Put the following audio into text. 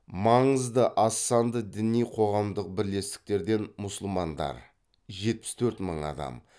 маңызды аз санды діний қоғамдық бірлестіктерден мусулмандар